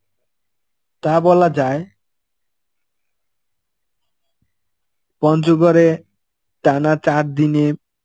তা বলা যায়. পঞ্চগড়ে টানা চার দিনে